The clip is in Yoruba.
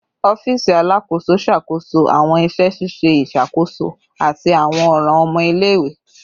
Ọfiisi Alakoso ṣakoso awọn iṣẹ ṣiṣe iṣakoso ati awọn ọran ọmọ ile-iwe